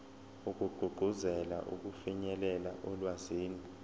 wokugqugquzela ukufinyelela olwazini